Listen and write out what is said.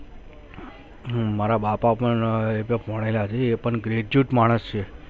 હમ મારા બાપા પણ એ પણ graduate માણસ છે